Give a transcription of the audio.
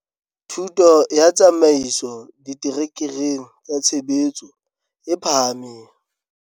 Thuto ya Tsamaiso diterekereng tsa tshebetso e phahameng.